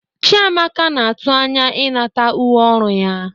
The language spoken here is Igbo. Chiamaka na-atụ anya ịnata uwe ọrụ ya.